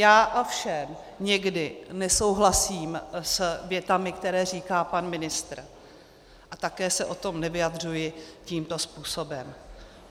Já ovšem někdy nesouhlasím s větami, které říká pan ministr, a také se o tom nevyjadřuji tímto způsobem.